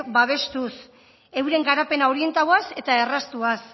babestuz euren garapena orientatuz eta erraztuz